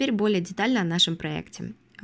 теперь более детально о нашем проекте а